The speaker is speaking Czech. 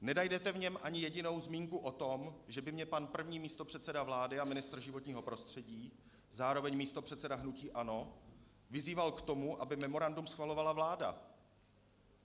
Nenajdete v něm ani jedinou zmínku o tom, že by mě pan první místopředseda vlády a ministr životního prostředí, zároveň místopředseda hnutí ANO vyzýval k tomu, aby memorandum schvalovala vláda.